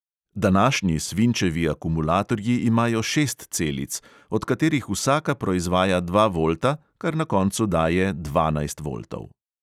Današnji svinčevi akumulatorji imajo šest celic, od katerih vsaka proizvaja dva volta, kar na koncu daje dvanajst voltov.